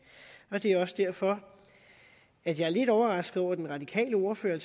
det er også derfor at jeg er lidt overrasket over den radikale ordfører